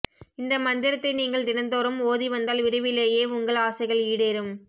இந்த மந்திரத்தை நீங்கள் தினந்தோறும் ஓதி வந்தால் விரைவிலேயே உங்கள் ஆசைகள் ஈடேறும்